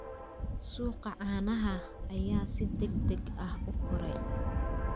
Suuqa caanaha ayaa si degdeg ah u koray.